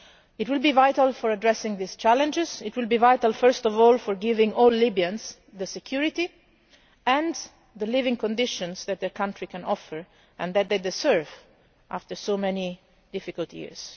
It will be vital to addressing these challenges, it will be vital first of all to giving all Libyans the security and the living conditions that the country can offer and that they deserve after so many difficult years.